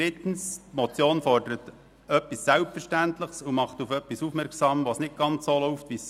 Drittens: Die Motion fordert etwas Selbstverständliches und macht auf etwas aufmerksam, das nicht ganz so läuft, wie es sollte.